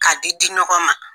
K'a di di ɲɔgɔn ma.